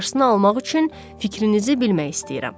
Qarşısını almaq üçün fikrinizi bilmək istəyirəm.